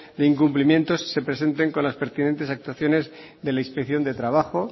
de incumplimiento se presenten con las pertinentes actuaciones de la inspección de trabajo